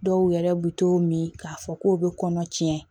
Dɔw yɛrɛ bɛ to min k'a fɔ k'o bɛ kɔnɔ tiɲɛ